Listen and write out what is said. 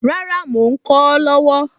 Rárá, mò ń kọ ọ́ lọ́wọ́